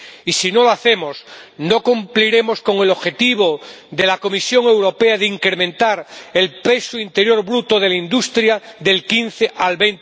Y si no lo hacemos, no cumpliremos con el objetivo de la Comisión Europea de incrementar el peso interior bruto de la industria del 15 al